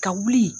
Ka wuli